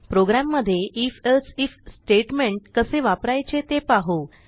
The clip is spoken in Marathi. प्रोग्रॅममध्ये आयएफ एल्से आयएफ स्टेटमेंट कसे वापरायचे ते पाहू